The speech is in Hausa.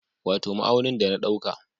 Wato ma'aunin da na dauka